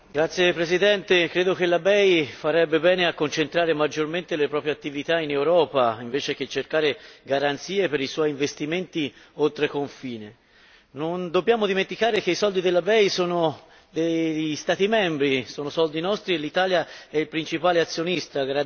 Signor Presidente, onorevoli colleghi, credo che la BEI farebbe bene a concentrare maggiormente le proprie attività in Europa, invece che cercare garanzie per i suoi investimenti oltreconfine. Non dobbiamo dimenticare che i soldi della BEI sono degli Stati membri, sono soldi nostri e l'Italia è il principale azionista.